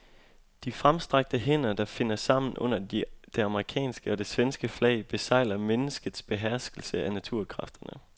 De fremstrakte hænder, der finder sammen under det amerikanske og det svenske flag, besegler menneskets beherskelse af naturkræfterne.